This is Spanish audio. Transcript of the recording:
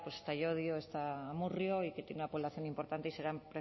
pues está llodio está amurrio y que tiene una población importante y serán